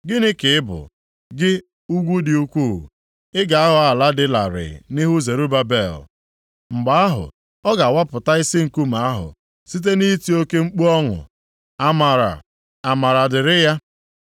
“Gịnị ka ị bụ, gị ugwu dị ukwuu? Ị ga-aghọ ala dị larịị nʼihu Zerubabel. Mgbe ahụ, ọ ga-awapụta isi nkume ahụ site nʼiti oke mkpu ọṅụ, ‘Amara! Amara dịrị ya!’ ”